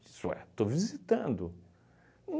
Isso é, estou visitando.